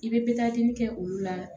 I bɛ kɛ olu la